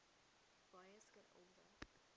boas got older